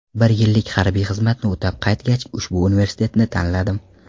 Bir yillik harbiy xizmatni o‘tab qaytgach, ushbu universitetni tanladim.